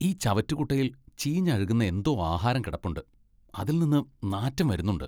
ഈ ചവറ്റുകുട്ടയിൽ ചീഞ്ഞഴുകുന്ന എന്തോ ആഹാരം കിടപ്പുണ്ട്, അതിൽ നിന്ന് നാറ്റം വരുന്നുണ്ട്.